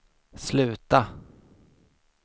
sluta